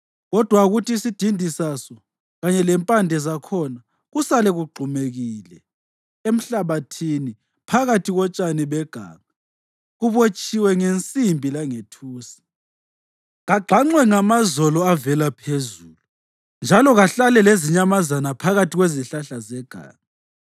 Kodwa akuthi isidindi saso kanye lempande zakhona kusale kugxumekile emhlabathini phakathi kotshani beganga, kubotshiwe ngensimbi langethusi. Kagxanxwe ngamazolo avela phezulu, njalo kahlale lezinyamazana phakathi kwezihlahla zeganga.